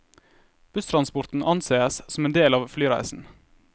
Busstransporten anses som en del av flyreisen.